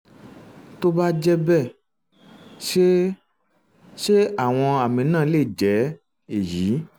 tó bá jẹ́ bẹ́ẹ̀ ṣé ṣé àwọn àmì náà lè jẹ́ èyí?